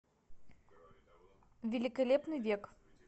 великолепный век